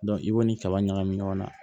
i b'o ni kaba ɲagami ɲɔgɔn na